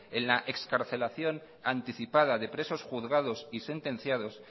en la excarcelación anticipada de presos juzgados y sentenciados